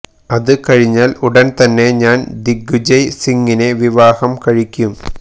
അത് കഴിഞ്ഞാല് ഉടന് തന്നെ ഞാന് ദിഗ്വിജയ് സിംഗിനെ വിവാഹം കഴിക്കും